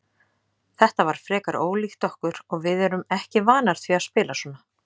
Þetta var frekar ólíkt okkur og við erum ekki vanar því að spila svona.